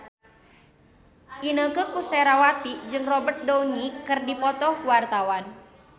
Inneke Koesherawati jeung Robert Downey keur dipoto ku wartawan